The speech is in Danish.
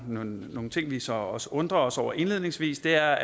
nogle nogle ting vi så også undrer os over indledningsvis er